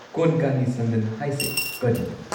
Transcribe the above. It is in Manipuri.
ꯀꯣꯟꯀꯥꯅꯤ ꯁꯟꯗꯟ ꯍꯥꯏꯁꯦ ꯀꯔꯤꯅꯣ?